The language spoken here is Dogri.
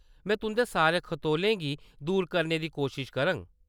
में तुंʼदे सारे खतोलें गी दूर करने दी कोश्श करङ।